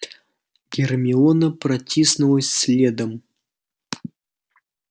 гермиона протиснулась следом